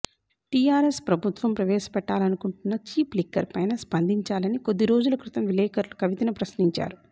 TRS ప్రభుత్వం ప్రవేశ పెట్టాలనుకుంటున్న చీప్ లిక్కర్ పైన స్పందించాలని కొద్ది రోజుల క్రితం విలేకరులు కవితను ప్రశ్నించారు